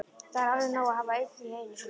Það er alveg nóg að hafa einn í einu svona.